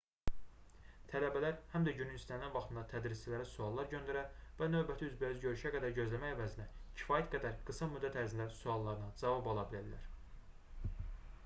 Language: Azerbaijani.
tələbələr həm də günün istənilən vaxtında tədrisçilərə suallar göndərə və növbəti üzbəüz görüşə qədər gözləmək əvəzinə kifayət qədər qısa müddət ərzində suallarına cavab ala bilərlər